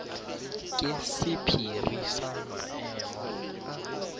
ke sephiri sa maemo a